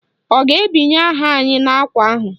Ọ ga-ebinye aha anyị n'ákwà ahụ?